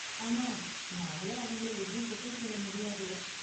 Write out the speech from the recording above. ஆனா, நாமளும் அவங்கள எதுவும் குத்தம் சொல்ல முடியாது.